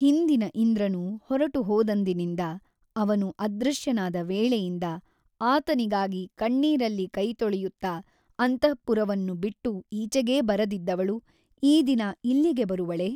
ಹಿಂದಿನ ಇಂದ್ರನು ಹೊರಟು ಹೋದಂದಿನಿಂದ ಅವನು ಅದೃಶ್ಯನಾದ ವೇಳೆಯಿಂದ ಆತನಿಗಾಗಿ ಕಣ್ಣೀರಲ್ಲಿ ಕೈತೊಳೆಯುತ್ತ ಅಂತಃಪುರವನ್ನು ಬಿಟ್ಟು ಈಚೆಗೇ ಬರದಿದ್ದವಳು ಈ ದಿನ ಇಲ್ಲಿಗೆ ಬರುವಳೇ?